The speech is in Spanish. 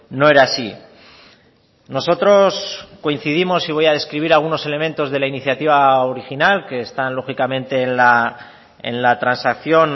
no era así nosotros coincidimos y voy a describir algunos elementos de la iniciativa original que están lógicamente en la transacción